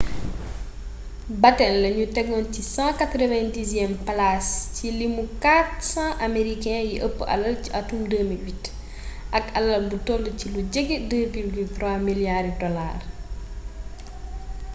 batten lañu teggoon ci 190eelu palaas ci limu 400 amerikee yi ëpp alal ci atum 2008 ak alal bu toll ci lu jege 2,3 miliyaari dolaar